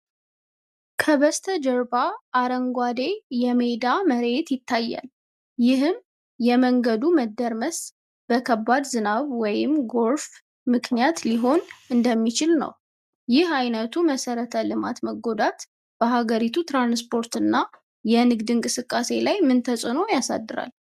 ከበስተጀርባ አረንጓዴ የሜዳ መሬት ይታያል፣ ይህም የመንገዱ መደርመስ በከባድ ዝናብ ወይም ጎርፍ ምክንያት ሊሆን እንደሚችልነው። ይህ አይነቱ መሰረተ ልማት መጎዳት በሀገሪቱ የትራንስፖርትና የንግድ እንቅስቃሴ ላይ ምን ተጽእኖ ያሳድራል?